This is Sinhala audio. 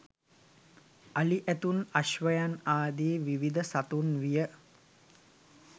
අලි ඇතුන් අශ්වයන් ආදී විවිධ සතුන් විය